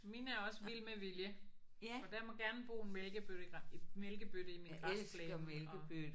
Min er også vild med vilje og der må gerne bo en mælkebøtte i mælkebøtte i min græsplæne og